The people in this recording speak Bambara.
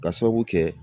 Ka sababu kɛ